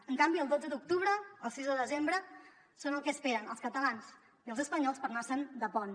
en canvi el dotze d’octubre el sis de desembre són el que esperen els catalans i els espanyols per anar se’n de pont